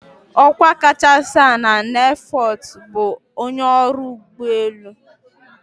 "Ọkwa kachasị ala na airforce bụ ""onye ọrụ ụgbọelu"""